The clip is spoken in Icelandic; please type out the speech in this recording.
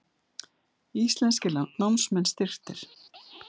Íslenskir námsmenn styrktir